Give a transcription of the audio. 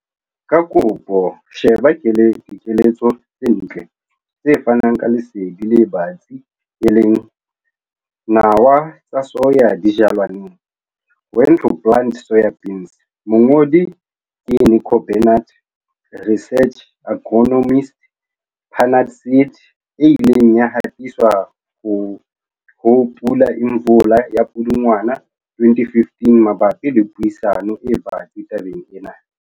Ka kopo sheba dikeletso tse ntle, tse fanang ka lesedi le batsi, e leng. Nawa tsa soya di jalwa neng, 'When to plant soybeans' mongodi ke Nico Barnard, Research Agronomist, Pannar Seed, e ileng ya hatiswa ho Pula Imvula ya Pudungwana 2015 mabapi le puisano e batsi tabeng ena.